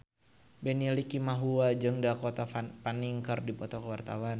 Benny Likumahua jeung Dakota Fanning keur dipoto ku wartawan